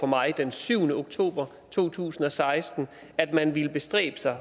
mig den syvende oktober to tusind og seksten at man ville bestræbe sig